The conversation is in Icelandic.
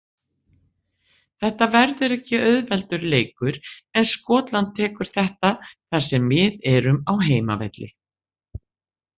Þetta verður ekki auðveldur leikur en Skotland tekur þetta þar sem við erum á heimavelli.